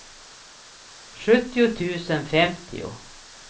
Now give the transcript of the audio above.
sjuttio tusen femtio